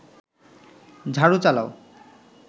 ঝাড়ু চালাও